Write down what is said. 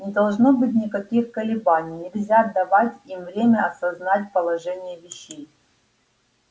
не должно быть никаких колебаний нельзя давать им время осознать положение вещей